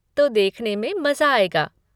तो देखने में मज़ा आएगा।